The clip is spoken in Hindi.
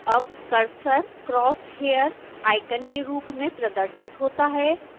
अब कर्सर crosshair आइकन के रूप में प्रदर्शित होता है